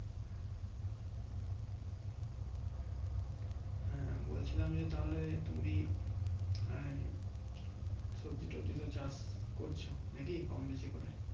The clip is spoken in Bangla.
হ্যাঁ বলছিলাম যে তাহলে তুমি আহ সবজি টোবাজি তো চাষ করছো নাকি কম বেশি করে